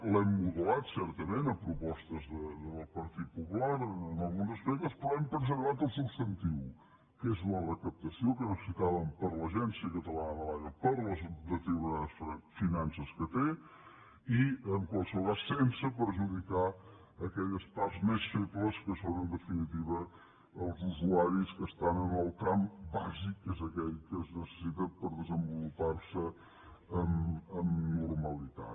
l’hem modulat certament a propostes del partit popular en alguns aspectes però hem preservat el substantiu que és la recaptació que necessitàvem per a l’agència cata lana de l’aigua per les deteriorades finances que té i en qualsevol cas sense perjudicar aquelles parts més febles que són en definitiva els usuaris que estan en el tram bàsic que és aquell que es necessita per desenvolupar se amb normalitat